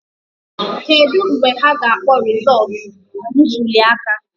Kedu mgbe ha ga-akpọ rịzọtụ ntulịaka